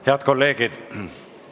Head kolleegid!